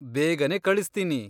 ಬೇಗನೇ ಕಳಿಸ್ತೀನಿ!